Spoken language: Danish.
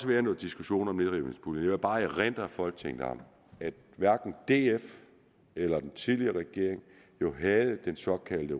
været noget diskussion om nedrivningspuljen jeg vil bare erindre folketinget om at hverken df eller den tidligere regering jo havde den såkaldte